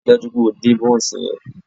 Ríi dájú wípé o dín bónsì yen